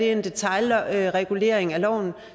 en detailregulering i loven